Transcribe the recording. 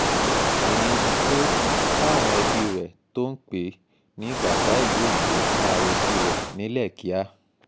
ìyẹn ni pé káwọn ẹbí rẹ̀ tó ń pè é ní bàbá ìlú òyìnbó má retí rẹ̀ nílẹ̀ kíá